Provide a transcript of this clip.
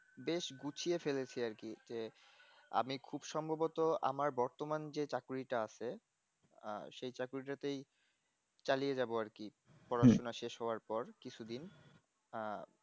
বেশ গুছিয়ে ফেলেছি আর কি যে আমি খুব সম্ভবত আমার বর্তমান যে চাকুরিটা আছে আহ সেই চাকুরি টাতেই চালিয়ে যাব আর কি পড়াশোনা শেষ হবার পর কিছুদিন